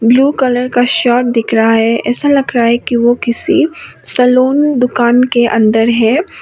Blue colour का shirt दिख रहा है ऐसा लग रहा है कि वो किसी सैलून दुकान के अंदर है।